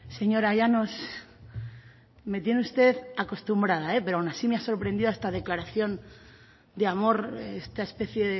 señora llanos me tiene usted acostumbrada pero aun así me ha sorprendido esta declaración de amor esta especie